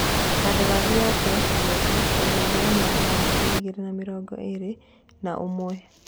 Kandarathi yake kĩrabu-inĩ kĩu ĩgathira mwaka wa ngiri igĩrĩ na mĩrongo ĩrĩ na ũmwe.